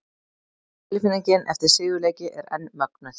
Tilfinningin eftir sigurleiki er enn mögnuð!